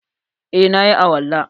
Eh, na yi alwala.